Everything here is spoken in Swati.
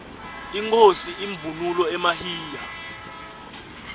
inkhosi ivunule emahiya